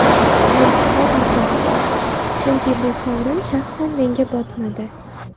Zulfiqor Musoqov: Chunki bu sovrin shaxsan menga botmadi.